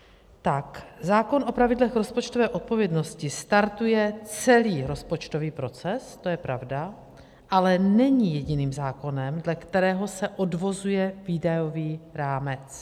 Zákon o pravidlech rozpočtové odpovědnosti startuje celý rozpočtový proces, to je pravda, ale není jediným zákonem, dle kterého se odvozuje výdajový rámec.